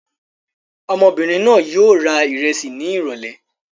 Ọmọbìnrin náà yóò w ra ìrẹsì ní ìrọ́lẹ́.